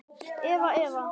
Eða, eða.